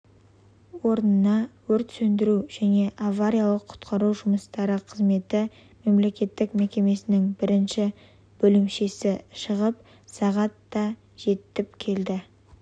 орнына өрт сөндіру және авариялық-құтқару жұмыстары қызметі мемлекеттік мекемесінің бірінші бөлімшесі шығып сағат да жетіп келді